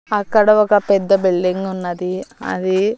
అక్కడ ఒక పెద్ద బిల్డింగ్ ఉన్నది అది--